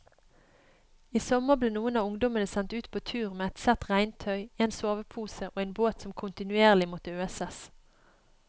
I sommer ble noen av ungdommene sendt ut på tur med ett sett regntøy, en sovepose og en båt som kontinuerlig måtte øses.